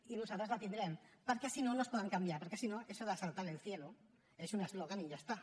i nosaltres la tindrem perquè si no no es poden canviar perquè si no això d’ asaltar el cielo és un eslògan i ja està